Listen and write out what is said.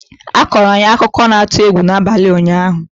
a kọọrọ anyị akụkọ na-atụ egwu n'abalị ụnyaahụ